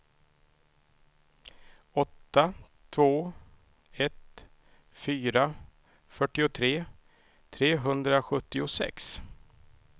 åtta två ett fyra fyrtiotre trehundrasjuttiosex